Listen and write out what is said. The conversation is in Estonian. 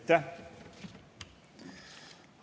Aitäh!